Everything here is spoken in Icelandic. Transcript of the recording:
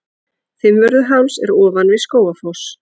Fimmvörðuháls er ofan við Skógafoss.